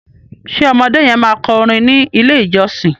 ṣe ọmọdé yen ma kọ orin ní ilè ìjósìn?